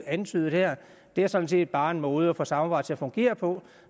antydet her det er sådan set bare en måde at få samarbejdet fungere på